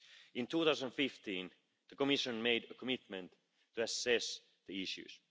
In 2015, the Commission made a commitment to assess the issues.